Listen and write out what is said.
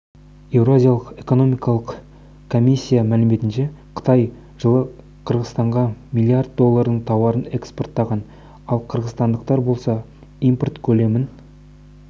еуразиялық экономикалық комиссия мәліметінше қытай жылы қырғызстанға миллиард доллардың тауарын экспорттаған ал қырғызстандықтар болса импорт көлемін